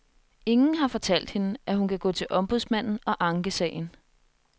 Ingen har fortalt hende, at hun kan gå til ombudsmanden og ankesagen.